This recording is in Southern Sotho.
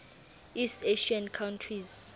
east asian countries